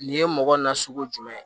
Nin ye mɔgɔ nasugu jumɛn ye